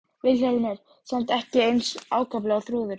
Vilhjálmur samt ekki eins ákaflega og Þrúður.